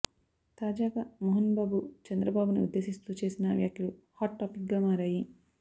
తాజాగా మోహన్ బాబు చంద్రబాబుని ఉద్దేశిస్తూ చేసిన వ్యాఖ్యలు హాట్ టాపిక్ గా మారాయి